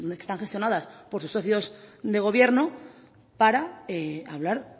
están gestionadas por sus socios de gobierno para hablar